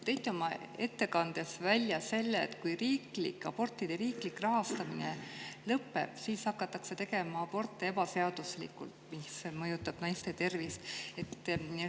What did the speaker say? Te tõite oma ettekandes välja selle, et kui abortide riiklik rahastamine lõpeb, siis hakatakse tegema aborte ebaseaduslikult, mis mõjutab naiste tervist.